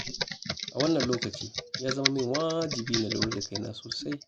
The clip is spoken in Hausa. A wannan lokaci, ya zama min wajibi na lura da kaina sosai.